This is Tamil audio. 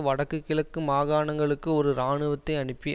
வடக்கு கிழக்கு மாகாணங்களுக்கு ஒரு இராணுவத்தை அனுப்பி